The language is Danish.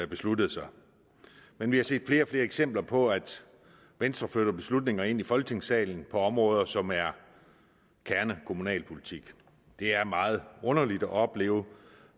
besluttede sig men vi har set flere og flere eksempler på at venstre flytter beslutninger ind i folketingssalen på områder som er kernekommunalpolitik det er meget underligt at opleve